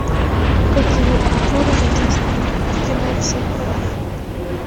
какие актеры задействованы в кино всех порву